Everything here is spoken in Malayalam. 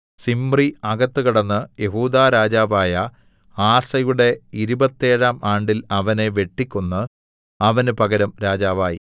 സിമ്രി അകത്ത് കടന്ന് യെഹൂദാ രാജാവായ ആസയുടെ ഇരുപത്തേഴാം ആണ്ടിൽ അവനെ വെട്ടിക്കൊന്ന് അവന് പകരം രാജാവായി